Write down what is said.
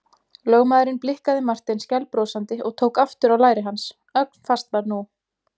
Lögmaðurinn blikkaði Martein skælbrosandi og tók aftur á læri hans, ögn fastar nú.